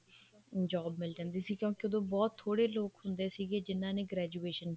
job ਮਿਲ ਜਾਂਦੀ ਸੀ ਕਿਉਂਕਿ ਉਦੋਂ ਬਹੁਤ ਥੋੜੇ ਲੋਕ ਹੁੰਦੇ ਸੀ ਜਿਹਨਾ ਨੇ graduation